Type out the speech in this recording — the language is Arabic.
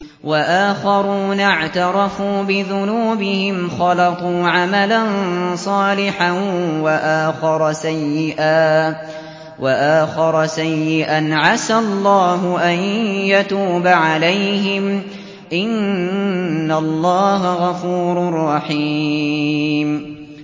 وَآخَرُونَ اعْتَرَفُوا بِذُنُوبِهِمْ خَلَطُوا عَمَلًا صَالِحًا وَآخَرَ سَيِّئًا عَسَى اللَّهُ أَن يَتُوبَ عَلَيْهِمْ ۚ إِنَّ اللَّهَ غَفُورٌ رَّحِيمٌ